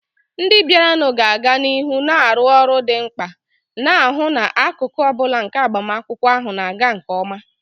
Ndị bịaranụ ga-aga n'ihu na-arụ ọrụ dị mkpa, na-ahụ na akụkụ ọ bụla nke agbamakwụkwọ ahụ na-aga nke ọma.